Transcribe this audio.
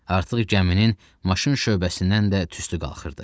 Artıq gəminin maşın şöbəsindən də tüstü qalxırdı.